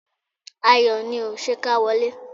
Ayọ̀ ni o! Ṣé ká wọlé?